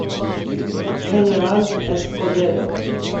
хенераль эскобедо